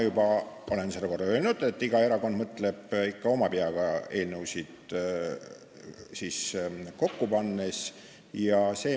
Ma olen seda juba korra öelnud, et iga erakond mõtleb eelnõusid kokku pannes ikka oma peaga.